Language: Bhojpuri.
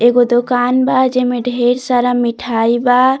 एगो दुकान बा जेमें ढेर सारा मिठाई बा।